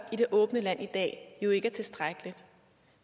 i det åbne land i dag er jo ikke tilstrækkeligt